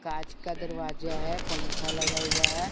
कांच का दरवाजा है पंखा लगा हुआ है।